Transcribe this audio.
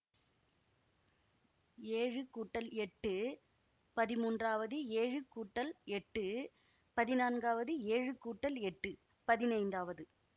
ஏழு கூட்டல் எட்டு பதிமூன்றாவது ஏழு கூட்டல் எட்டு பதினான்காவது ஏழு கூட்டல் எட்டு பதினைந்தாவது